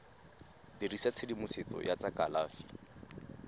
dirisa tshedimosetso ya tsa kalafi